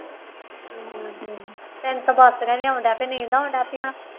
ਹਮ ਤੈਨੂੰ ਤਾਂ ਬਾਸੀਆਂ ਵੀ ਆਉਣ ਲੱਗ ਪਈਆਂ ਨੀਂਦ ਆਉਣ ਲੱਗ ਪਈ ਹੁਣ